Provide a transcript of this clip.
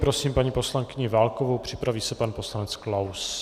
Prosím paní poslankyni Válkovou, připraví se pan poslanec Klaus.